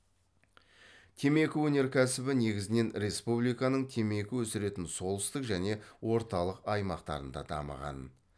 темекі өнеркәсібі негізінен республиканың темекі өсіретін солтүстік және орталық аймақтарында дамыған